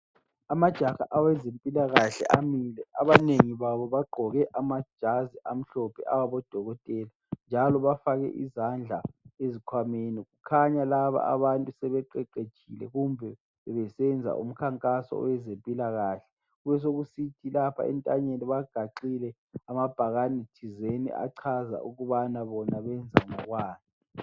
Amajaha awezempilakahle amile, abanengi babo bagqoke amajazi amhlophe awabodokotela njalo bafake izandla ezikhwameni. Kukhanya laba abantu sebeqeqetshile, bebesenza umkhankaso wezempilakahle. Kubesekusithi lapha entanyeni, bagaxile amabhakani thizeni achaza ukubana bona benza ngokwani.